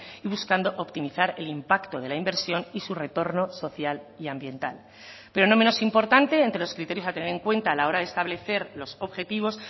y buscando optimizar el impacto de la inversión y su retorno social y ambiental pero no menos importante entre los criterios a tener en cuenta a la hora de establecer los objetivos